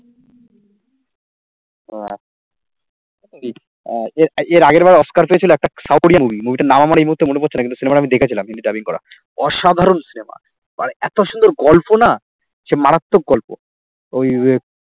আর এর আগের বার অস্কার পেয়েছিলো একটা south কোরিয়ান movie movie টার নাম আমার এই মুহূর্তে মনে পড়ছে না কিন্তু cinema টা আমি দেখেছিলাম কিন্তু dubbing করা অসাধারণ cinema আর এত সুন্দর গল্প না সে মারাত্মক গল্প ওই যে